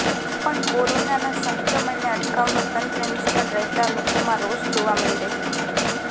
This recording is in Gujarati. પણ કોરોના સંક્રમણને અટકાવવા તંત્ર નિષ્ફળ રહેતા લોકોમાં રોષ જોવા મળી રહ્યો છે